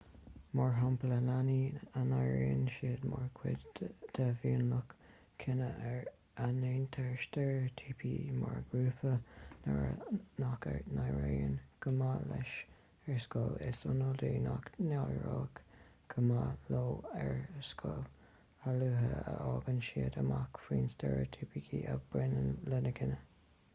mar shampla leanaí a n-airíonn siad mar chuid de mhionlach cine ar a ndéantar steiréitíopa mar ghrúpa nach n-éiríonn go maith leis ar scoil is iondúil nach n-éireoidh go maith leo ar scoil a luaithe a fhaigheann siad amach faoin steiréitíopa a bhaineann lena gcine